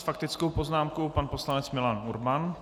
S faktickou poznámkou pan poslanec Milan Urban.